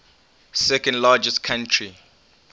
second largest country